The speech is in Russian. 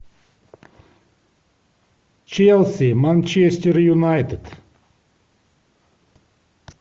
челси манчестер юнайтед